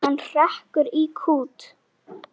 Hann hrekkur í kút.